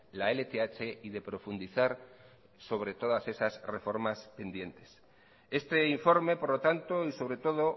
la lth y de profundizar sobre todas esas reformas pendientes este informe por lo tanto y sobre todo